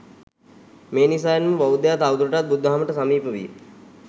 මේ නිසාවෙන්ම බෞද්ධයා තවදුරටත් බුදු දහමට සමීප විය.